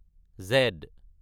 Z